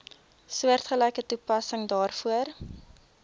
soortgelyke toepassing daarvoor